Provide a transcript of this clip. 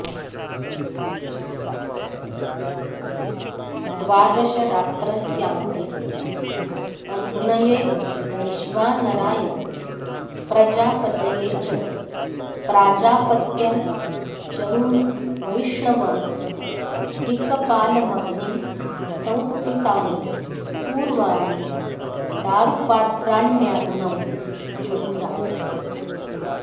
द्वादशरात्रस्यान्ते अग्नये वैश्वानराय प्रजापतये च प्राजापत्यं चरुं वैष्णवं त्रिकपालमग्निं संस्थितानि पूर्वाणि दारुपात्राण्याग्नौ जुहुयात्